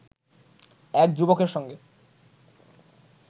এক যুবকের সঙ্গে